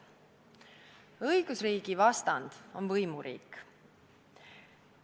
Õigusriigi vastand on võimuriik.